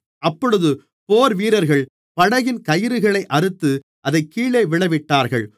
அப்பொழுது போர்வீரர்கள் படகின் கயிறுகளை அறுத்து அதைக் கீழே விழவிட்டார்கள்